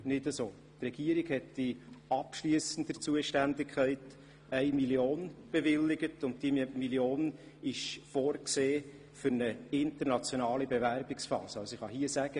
Die Regierung hat in abschliessender Zuständigkeit 1 Mio. Franken bewilligt, und diese ist für die internationale Bewerbungsphase vorgesehen.